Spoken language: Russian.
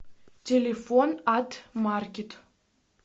телефон ат маркет